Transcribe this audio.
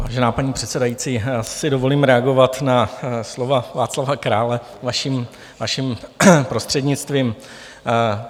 Vážená paní předsedající, já si dovolím reagovat na slova Václava Krále vaším prostřednictvím.